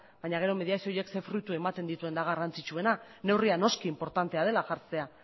baino gero mediazio horiek zein fruitu ematen dituen da garrantzitsuena neurria noski inportantea dela jartzea